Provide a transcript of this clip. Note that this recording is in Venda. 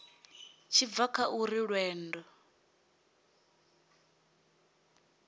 tshi bva kha uri lwendo